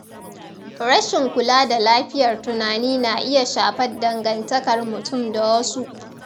Rashin kula da lafiyar tunani na iya shafar dangantakar mutum da wasu.